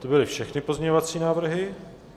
To byly všechny pozměňovací návrhy?